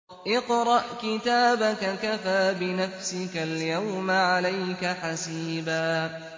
اقْرَأْ كِتَابَكَ كَفَىٰ بِنَفْسِكَ الْيَوْمَ عَلَيْكَ حَسِيبًا